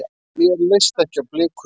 Mér leist ekki á blikuna.